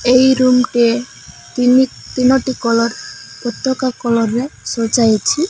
ଏହି ରୁମ କେ ତିନିଟି କଲର୍ ପତାକା କଲର ରେ ସଜା ହୋଇଛି।